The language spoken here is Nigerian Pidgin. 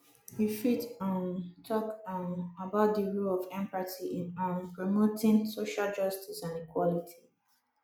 you fit um talk um about di role of empathy in um promoting social justice and equality